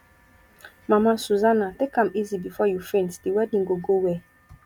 mama susanna take am easy before you faint the wedding go go well.